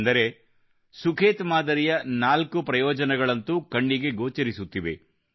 ಅಂದರೆ ಸುಖೇತ್ ಮಾದರಿಯ ನಾಲ್ಕು ಪ್ರಯೋಜನಗಳಂತೂ ಕಣ್ಣಿಗೆ ಗೋಚರಿಸುತ್ತಿವೆ